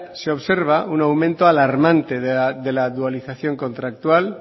se observa un aumento alarmante de la dualización contractual